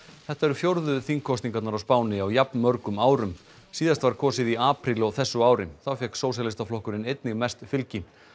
þetta eru fjórðu þingkosningarnar á Spáni á jafnmörgum árum síðast var kosið í apríl á þessu ári þá fékk Sósíalistaflokkurinn einnig mest fylgi